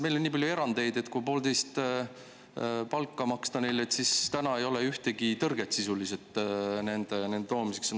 Meil on nii palju erandeid, et kui neile maksta poolteist palka, siis ei oleks praegu ühtegi tõrget nende siia toomiseks.